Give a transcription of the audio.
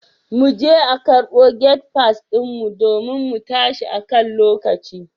Muje a karbo gate pass din mu domin mu tashi akan lokaci.